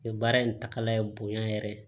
Baara in taga ye bonya yɛrɛ ye